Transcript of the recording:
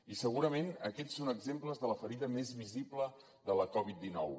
i segurament aquests són exemples de la ferida més visible de la covid dinou